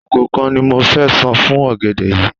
Àpò kan ni mo fẹ san fún ọ̀gẹ̀dẹ̀ yìí.